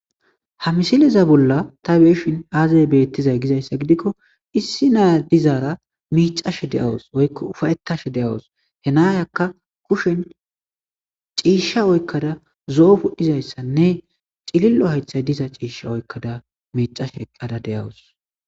ha misileza bolla ta beyshin aaza bettizay gizayssa gidikko issi naya dizaara miicashe deawus oykko ufayetashe de'awus he naayakka kushen ciishsha oykkada zo'o pudhizayssanne cilillo haythay diza ciishsha oykkada miicashe eqada de'awus